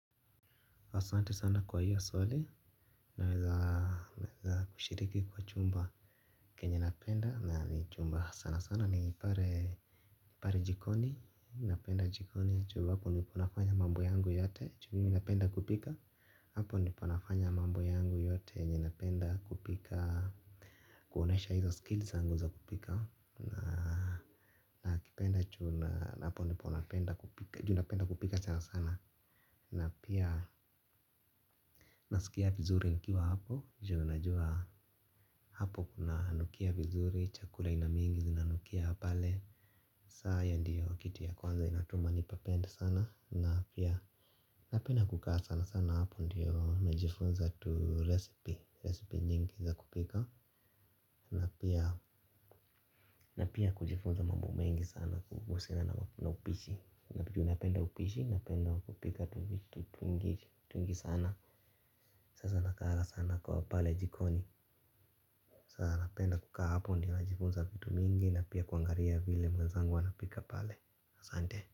Asante sana kwa hilo swali naweza kushiriki kwa chumba Kenye napenda na ni chumba sana sana ni pale. Ni pale jikoni napenda jikoni juu hapo ndipo nafanya mambo yangu yote juu mimi napenda kupika, hapo ndipo nafanya mambo yangu yote, yenye napenda kupika. Kuonyesha hizo skills zangu za kupika. Na kipenda chumba, hapo niponafanya kupika sana sana. Na pia nasikia vizuri nkiwa hapo Juna jua Nakipenda chumba na hapo ndipo napenda kupika ju napenda kupika sana sana. Na pia nasikia vizuri nikiwa hapo. Juu najua hayo ndiyo kitu ya kwanza inatuma nipapende sana na pia napenda kukaa sana sana hapo ndio najifunza tu recipe recipe nyingi za kupika pia kujifunza mambo mengi sana kuhusiana na upishi ju napenda upishi napenda kupika tuvitu twingi sana. Sasa nakaanga sana kwa pale jikoni. Sasa napenda kukaa hapo ndio najifunza vitu mingi na pia kuangalia vile wenzangu wanapika pale ahsante.